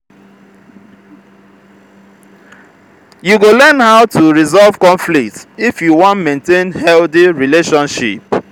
you go learn how to resolve conflict if you wan maintain healthy relationship.